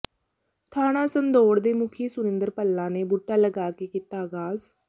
ਥਾਣਾ ਸੰਦੌੜ ਦੇ ਮੁਖੀ ਸੁਰਿੰਦਰ ਭੱਲਾ ਨੇ ਬੂਟਾ ਲਗਾ ਕੇ ਕੀਤਾ ਆਗਾਜ਼